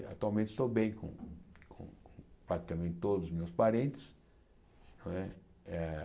Atualmente estou bem com praticamente todos os meus parentes. não é eh